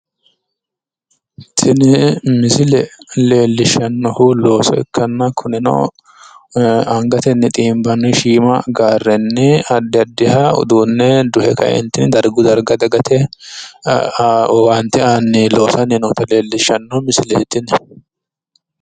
Tini misile leellishannohu looso ikkanna, kunino angatenni xiinbanni shiima gaarrenni addi addiha uduunne duhe kaeentinni dargu darga dagate owaante aanni loosanni noota leellishshanno misileeti yini.